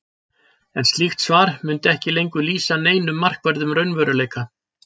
En slíkt svar mundi ekki lengur lýsa neinum markverðum raunveruleika.